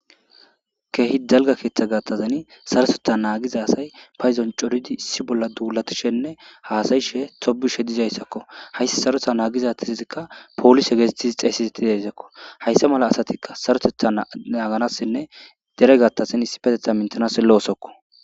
Keehi dalga keeththa gattazani sarotetha naagiza asay payzon coridi issi bolla duulatishenne haasayishe tobishe dizayssakko hayssi saretha naagizatizzikka poolishe geesettizi xeesiseti deezakko hayssa mala asatikka sarotetha naaganassinne dere gattasin issi petetha mintanass loosokko